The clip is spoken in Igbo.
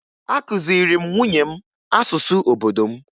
Akụziri m nwunye m asụsụ obodo m